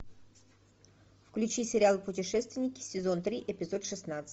включи сериал путешественники сезон три эпизод шестнадцать